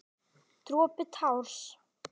Dropi társ.